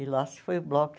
E lá se foi o bloco.